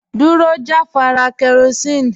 Dúró jàfàrà kerosene